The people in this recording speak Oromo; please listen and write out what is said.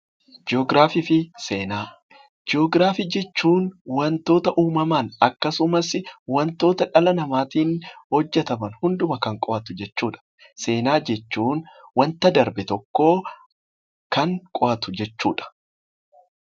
Ji'ograafii jechuun wantoota uumamaan, akkasumas, wantoota dhala namaatiin hojjetaman hunduma kan qo'atu jechuudha. Seenaa jechuun wanta darbe tokko kan qo'atu jechuudha.